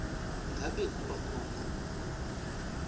ngabe kuba khona